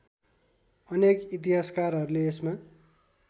अनेक इतिहासकारहरूले यसमा